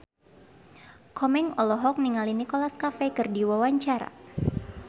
Komeng olohok ningali Nicholas Cafe keur diwawancara